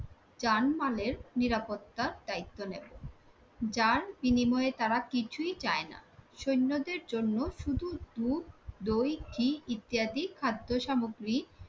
যান মালের নিরাপত্তার দায়িত্ব নেব, যার বিনিময়ে তারা কিছুই চাই না। সৈন্যদের জন্য শুধু দুধ দই ঘি ইত্যাদি খাদ্যসামগ্রী